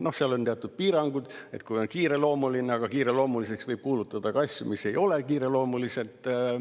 No seal on teatud piirangud, kui on kiireloomuline, aga kiireloomuliseks võib kuulutada ka asju, mis ei ole kiireloomulised.